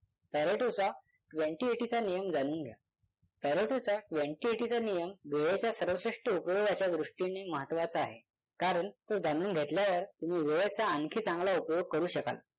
Pareto चा twenty eighty चा नियम जाणून घ्या. पॅरेटो चा twenty eighty चा नियम वेळेच्या सर्वश्रेष्ठ उपयोगाच्या दृष्टीने महत्त्वाचा आहे कारण तो जाणून घेतल्यावर तुम्ही वेळेचा आणखी चांगला उपयोग करू शकाल.